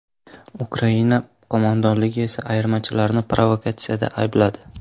Ukraina qo‘mondonligi esa ayirmachilarini provokatsiyada aybladi.